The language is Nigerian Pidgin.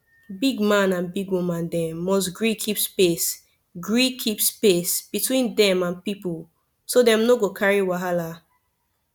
big man and big woman dem must gree keep space gree keep space between dem and people so dem no go carry wahala